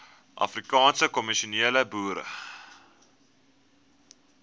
afrikaanse kommersiële boere